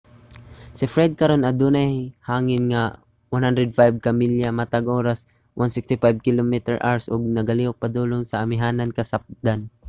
si fred karon kay adunay hangin nga 105 ka milya matag oras 165 km/h ug nagalihok padulong sa amihanan-kasapdan